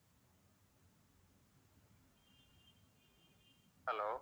hello